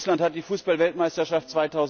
Russland hat die Fußballweltmeisterschaft